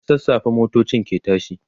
da sassafe motocin ke tashi